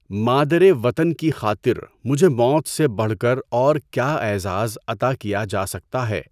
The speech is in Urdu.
مادر وطن کی خاطر مجھے موت سے بڑھ کر اور کیا اعزاز عطا کیا جا سکتا ہے؟